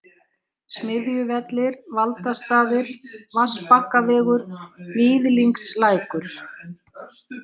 Smiðjuvellir, Valdastaðir, Vatnsbakkavegur, Víðingslækur